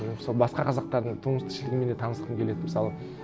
мен мысалы басқа қазақтардың тұрмыс тіршілігімен де танысқым келеді мысалы